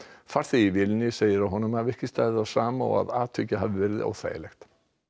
farþegi í vélinni segir að honum hafi ekki staðið á sama og að atvikið hafi verið óþægilegt